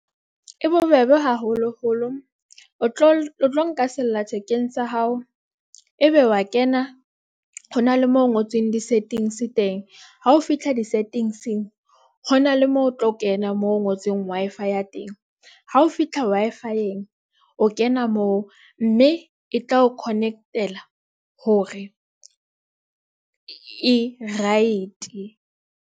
E bobebe haholoholo o tlo nka sella-thekeng sa hao. Ebe wa kena hona le mo ho ngotsweng di-settings teng. Ha o fihla di-settings-eng hona le moo o tlo kena moo ho ngotsweng Wi-fi teng. Ha o fihla Wi-Fi-eng, o kena moo mme e tla o connect-ela hore e right.